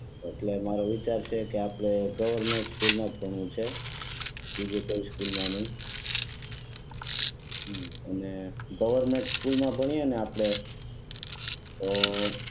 એટલે મારી વિચાર છે કે આપણે ગવર્નમેન્ટ સ્કૂલ માંજ ભણવું છે બીજી કોઈ સ્કૂલ માં નહીં હમ અને ગવર્નમેન્ટ સ્કૂલ માં ભણીયે ને આપણે તો